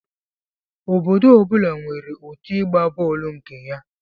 Obodo ọ bụla nwere otụ ịgba bọọlụ nke ya